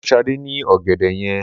Mo fún Sade ní ọ̀gẹ̀dẹ̀ yẹn